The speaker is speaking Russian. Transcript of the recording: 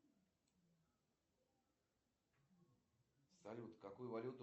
салют можешь везде выключить все осветительные приборы